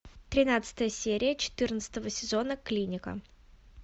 тринадцатая серия четырнадцатого сезона клиника